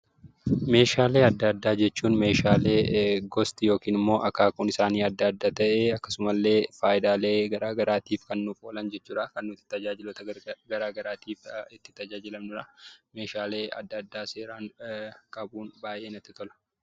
Meeshaalee adda addaa jechuun meeshaalee gosti yookiin immoo akaakuun isaanii addaa adda ta'ee, akkasumallee faayidaalee gara garaatiif kan nuuf oolan jechuu dha. Kan nuti tajaajiloota gara garaatiif itti tajaajilamnu dha. Meeshaalee adda addaa seeraan qabuun baay'ee natti tola.